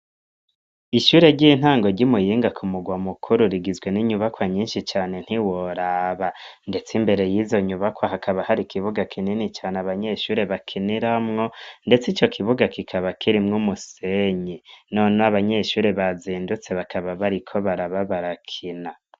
Ishure ry'intango ry'i Muyinga, ku murwa mukuru, rigizwe n'inyubakwa nyinshi cane ntiworaba; ndetse imbere y'izo nyubakwa, hakaba hari, ikibuga kinini cane abanyeshure bakiniramwo, ndetse ico kibuga, kikaba kirimwo umusenyi, nonoho abanyeshure bazindutse, bakaba bariko baraba barakina.